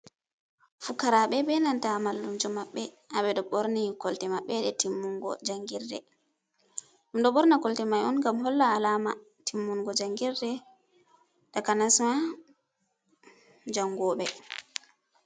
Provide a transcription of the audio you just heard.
Fukarabe benanta mallumjo mabbe. Habe do borni kolte mabbe de timmungo jangirde. Dum do borna kolte man on gam hollaki alama timmungo jangirde takanasma jangobe.